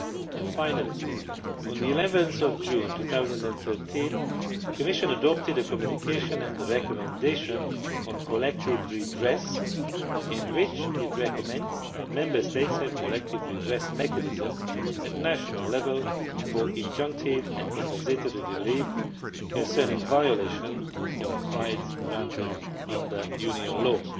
And finally, on 11 June 2013, the Commission adopted a Communication and a Recommendation on collective redress in which it recommends that Member States have collective redress mechanisms at national level for injunctive and compensatory relief concerning violation of rights granted under Union law.